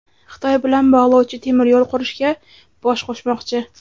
Xitoy bilan bog‘lovchi temir yo‘l qurishga "bosh qo‘shmoqchi".